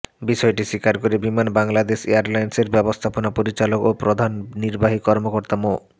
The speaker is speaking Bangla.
বিষয়টি স্বীকার করে বিমান বাংলাদেশ এয়ারলাইন্সের ব্যবস্থাপনা পরিচালক ও প্রধান নির্বাহী কর্মকর্তা মো